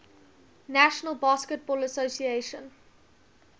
national basketball association